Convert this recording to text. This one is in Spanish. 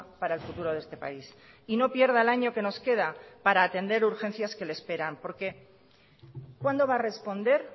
para el futuro de este país y no pierda el año que nos queda para atender urgencias que le esperan porque cuándo va a responder